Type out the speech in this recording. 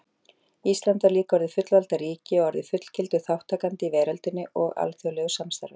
Ísland var líka orðið fullvalda ríki og orðið fullgildur þátttakandi í veröldinni og alþjóðlegu samstarfi.